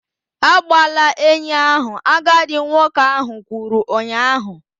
Agbala enyi ahụ! agadi nwoke kwuru ụnyahụ